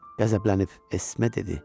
Qəzəblənib Esme dedi: